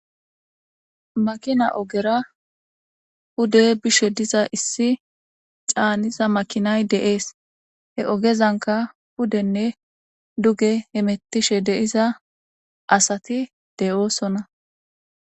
makina ogera hude bishe diza issi caaniza makinay de7ees he ogezanka pudenne duge hemettishe de7iza asati de7oosona.